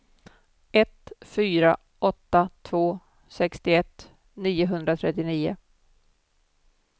ett fyra åtta två sextioett niohundratrettionio